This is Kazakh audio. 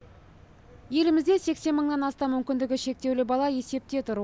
елімізде сексен мыңнан астам мүмкіндігі шектеулі бала есепте тұр